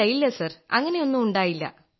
ഇല്ല ഇല്ല സർ അങ്ങനെയൊന്നും ഉണ്ടായില്ല